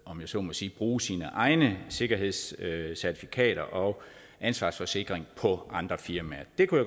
om jeg så må sige bruge sine egne sikkerhedscertifikater og ansvarsforsikring på andre firmaer det kunne